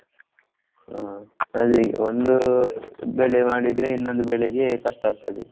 ಹಾ ಅದೇ ಈಗ ಒಂದು ಬೆಳೆ ಮಾಡಿದ್ರೆ ಇನ್ನೊಂದು ಬೆಳೆಗೆ ಕಷ್ಟ ಆಗ್ತದೆ.